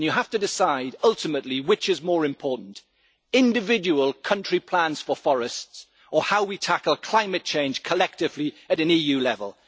You have to decide, ultimately, which is more important individual country plans for forests, or how we tackle climate change collectively at an EU level.